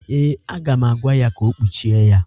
Ee, aga m agwa ya ka o kpuchie ya.